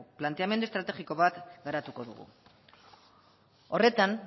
planteamendu estrategiko bat garatuko dugu horretan